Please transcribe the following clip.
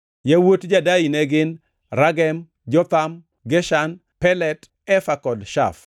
Yawuot Jadai ne gin: Ragem, Jotham, Geshan, Pelet, Efa kod Shaf.